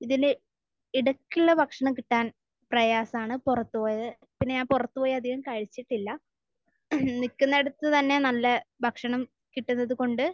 ഇതിന്റെ ഇടയ്ക്കുള്ള ഭക്ഷണം കിട്ടാൻ പ്രയാസമാണ്. പുറത്ത് പോയത്. പിന്നെ ഞാൻ പുറത്ത് പോയി അധികം കഴിച്ചിട്ടില്ല. നിൽക്കുന്നിടത്ത് തന്നെ നല്ല ഭക്ഷണം കിട്ടുന്നത് കൊണ്ട്.